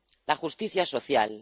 La justicia social.